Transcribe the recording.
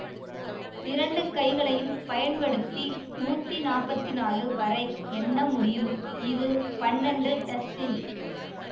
இரண்டு கைகளையும் பயன்படுத்தி நூத்தி நாப்பத்தி நாலு வரை எண்ண முடியும் இது பன்னெண்டு டசின்